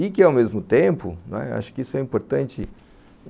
E que, ao mesmo tempo, não é, acho que isso é importante.